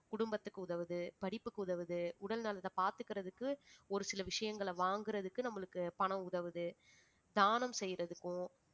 குடும்பத்துக்கு உதவுது படிப்புக்கு உதவுது உடல் நலத்தை பார்த்துக்கிறதுக்கு ஒரு சில விஷயங்களை வாங்குறதுக்கு நம்மளுக்கு பணம் உதவுது தானம் செய்யறதுக்கும்